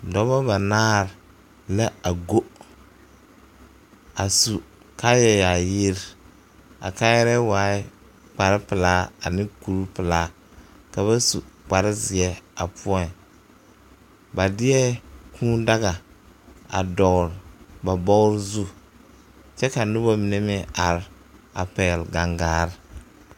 Dɔba banaare la a go a sue kaaya yaayire a kaaya waaɛ kpare pilaa ane kuri pilaa ka ba su kpare zeɛ a poɔŋ ba deɛ kuu daga a dɔgle ba bɔgɔ zu kyɛ a noba mine meŋ are a pɛgle gaŋgare.